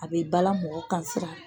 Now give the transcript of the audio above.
A bɛ bala mɔgɔ kan